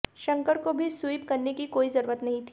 शंकर को भी स्वीप करने की कोई जरूरत नहीं थी